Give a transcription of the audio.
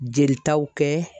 Jelitaw kɛ.